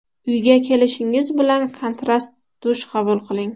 Uyga kelishingiz bilan kontrast dush qabul qiling.